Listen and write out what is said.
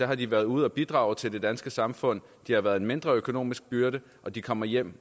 har de været ude at bidrage til det danske samfund de har været en mindre økonomisk byrde og de kommer hjem